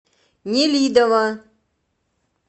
нелидово